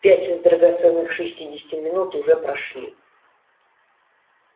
пять из драгоценных шестидесяти минут уже прошли